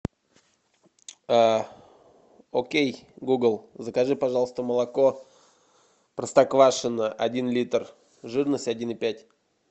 окей гугл закажи пожалуйста молоко простоквашино один литр жирность один и пять